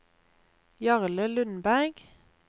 Jarle Lundberg